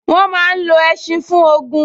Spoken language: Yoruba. Wọ́n máa n lo ẹṣin fún ogun